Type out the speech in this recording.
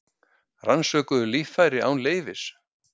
Rannsökuðu líffæri án leyfis